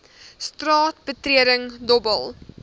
straat betreding dobbel